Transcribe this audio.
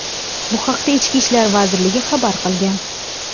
Bu haqda Ichki ishlar vazirligi xabar qilgan .